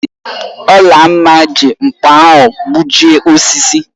Olamma ji nkpa ahu gbujịe osisi